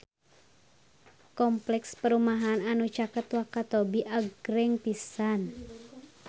Kompleks perumahan anu caket Wakatobi agreng pisan